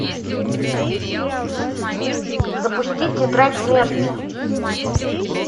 запусти тетрадь смерти